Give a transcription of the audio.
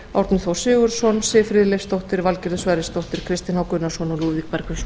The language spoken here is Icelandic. árni þór sigurðsson siv friðleifsdóttir valgerður sverrisdóttir kristinn h gunnarsson og lúðvík bergvinsson